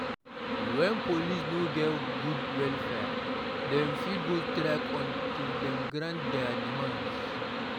Wen police no get good welfare, dem fit go strike until dem grant dia demands.